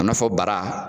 A nafa bara